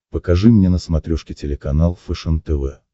покажи мне на смотрешке телеканал фэшен тв